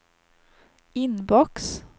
inbox